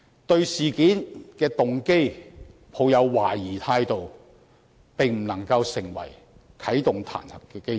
對事件的動機抱有懷疑態度，並不可以成為啟動彈劾的基礎。